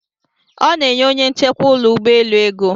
Ọ na-enye onye nchekwa ụlọ ụgbọelu ego.